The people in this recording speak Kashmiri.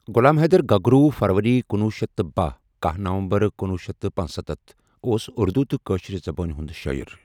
غُلام حیٖدر گَگروُ فَرؤری کنوہ شیتھ تہٕ بہہ ،کاہ نومبر کنوُہ شیتھ تہٕ پنسَتتھ اوس اُردو تہٕ کٲشُر زَبانَۍ ہنُد شٲعِر۔